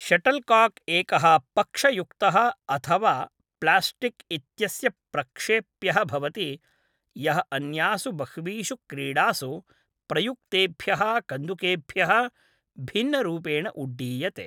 Shuttlecock एकः पक्षयुक्तः अथवा प्लास्टिक् इत्यस्य प्रक्षेप्यः भवति यः अन्यासु बह्वीषु क्रीडासु प्रयुक्तेभ्यः कन्दुकेभ्यः भिन्नरूपेण उड्डीयते।